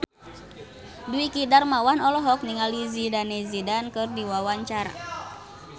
Dwiki Darmawan olohok ningali Zidane Zidane keur diwawancara